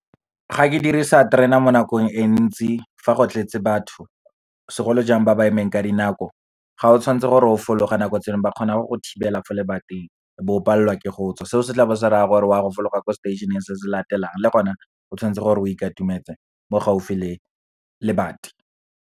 Ga ke dirisa terena mo nakong e ntsi, fa go tletse batho segolojang ba ba emeng ka dinako, ga o tshwanetse gore o fologe nako tse dingwe, ba kgona go thibela fo lebating. O bo palelwa ke go tswa, seo se tla bo se raya gore wa go fologa ko stationeng se se latelang, le gone o tshwanetse gore o ikatumetse mo gaufi le lebati.